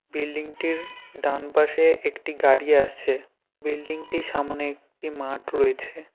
Building -টির ডানপাশে একটি গাড়ি আসছে বিল্ডিং -টির সামোনে একটি মাঠ রয়েছে।